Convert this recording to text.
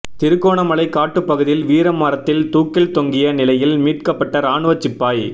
திருகோணமலை காட்டுப் பகுதியில் வீர மரத்தில் தூக்கில் தொங்கிய நிலையில் மீட்க்கப்பட்ட இராணுவச் சிப்பாய்